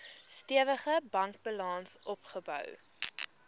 stewige bankbalans opgebou